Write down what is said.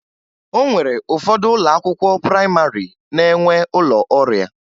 O nwere ụfọdụ ụlọ akwụkwọ prayịmarị na-enwe ụlọ ọrịa